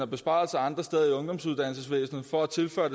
besparelser andre steder i ungdomsuddannelsesvæsenet for at tilføre